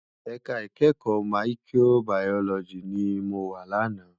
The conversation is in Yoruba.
Èká ikèékò Máyikróbàyólòjí ni mó wá làná